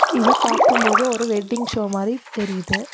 இத பாக்கும்போது ஒரு வெட்டிங் ஷோ மாரி தெரியிது.